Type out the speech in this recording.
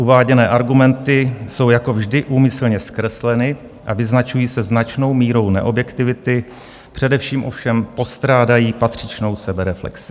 Uváděné argumenty jsou jako vždy úmyslně zkresleny a vyznačují se značnou mírou neobjektivity, především ovšem postrádají patřičnou sebereflexi.